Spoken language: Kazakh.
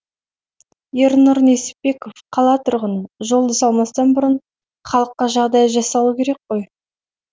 ернұр несіпбеков қала тұрғыны жолды салмастан бұрын халыққа жағдай жасалу керек қой